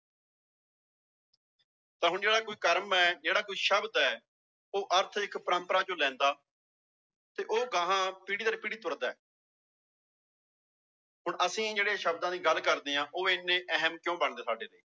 ਤਾਂ ਹੁਣ ਜਿਹੜਾ ਕੋਈ ਕਰਮ ਹੈ ਜਿਹੜਾ ਕੋਈ ਸ਼ਬਦ ਹੈ ਉਹ ਅਰਥ ਇੱਕ ਪਰੰਪਰਾ ਚੋਂ ਲੈਂਦਾ ਤੇ ਉਹ ਅਗਾਂਹ ਪੀੜ੍ਹੀ ਦਰ ਪੀੜ੍ਹੀ ਤੁਰਦਾ ਹੈ ਹੁਣ ਅਸੀਂ ਜਿਹੜੇ ਸ਼ਬਦਾਂ ਦੀ ਗੱਲ ਕਰਦੇ ਹਾਂ ਉਹ ਇੰਨੇ ਅਹਿਮ ਕਿਉਂ ਬਣਦੇ ਸਾਡੇ ਲਈ